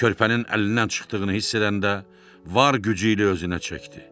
Körpənin əlindən çıxdığını hiss edəndə var gücü ilə özünə çəkdi.